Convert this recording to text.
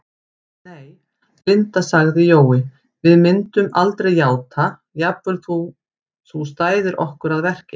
Nei, Linda sagði Jói, við myndum aldrei játa, jafnvel þótt þú stæðir okkur að verki